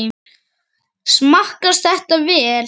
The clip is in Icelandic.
Smakkast þetta vel?